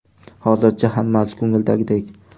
Hozircha hammasi ko‘ngildagidek.